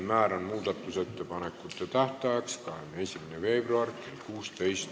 Määran muudatusettepanekute tähtajaks 21. veebruari kell 16.